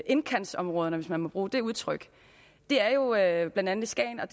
indkantsområderne hvis man må bruge det udtryk det er jo er jo blandt andet i skagen og